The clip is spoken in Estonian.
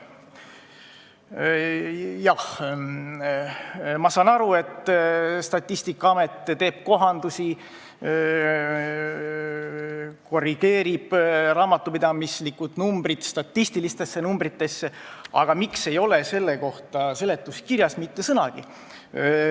Jah, ma saan aru, et Statistikaamet korrigeerib midagi, teisendab raamatupidamislikud numbrid statistilisteks numbriteks, aga miks ei ole selle kohta seletuskirjas mitte sõnagi?